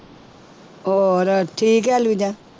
ਹੋਰ ਠੀਕ ਹੈ ਲੀਜਾ